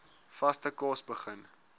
vaste kos begin